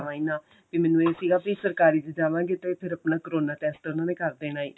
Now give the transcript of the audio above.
ਜਾਵਾਂ ਈ ਨਾ ਵੀ ਮੈਨੂੰ ਇਹ ਸੀ ਵੀ ਸਰਕਾਰੀ ਚ ਜਾਵਾਂਗੇ ਤਾਂ ਤੇ ਫਿਰ ਆਪਣਾ ਕਰੋਨਾ test ਉਹਨਾ ਨੇ ਕਰ ਦੇਣਾ ਹੀ